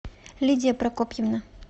лидия прокопьевна